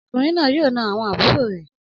Ọmọkùnrin náà yóò na àwọn àbúrò rẹ